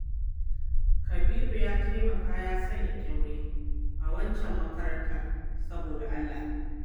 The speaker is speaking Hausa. Kabiru ya taimaka ya sanya ƙyaure a waccan makarantar saboda Allah